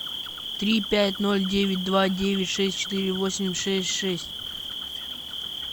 три пять ноль девять два девять шесть четыре восемь шесть шесть